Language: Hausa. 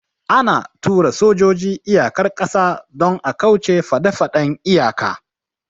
Ana tura sojoji iyakar ƙasa don a kauce faɗefaɗen iyaka